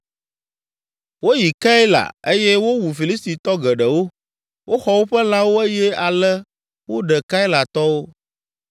Woyi Keila eye wowu Filistitɔ geɖewo, woxɔ woƒe lãwo eye ale woɖe Keilatɔwo.